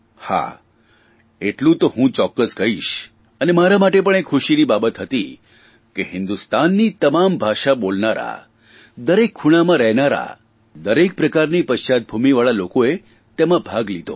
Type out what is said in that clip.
હા એટલું તો હું ચોક્કસ કહીશ અને મારા માટે પણ તે ખુશીની બાબત હતી કે હિંદુસ્તાનની તમામ ભાષા બોલનારા દરેક ખૂણામાં રહેનારા દરેક પ્રકારની પશ્ચાદભૂમિવાળા લોકોએ તેમાં ભાગ લીધો